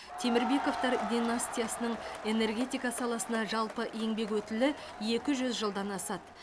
темірбековтар династиясының энергетика саласына жалпы еңбек өтілі екі жүз жылдан асады